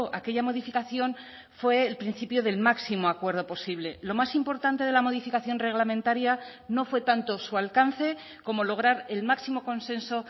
a aquella modificación fue el principio del máximo acuerdo posible lo más importante de la modificación reglamentaria no fue tanto su alcance como lograr el máximo consenso